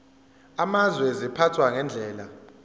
amazwe ziphathwa ngendlela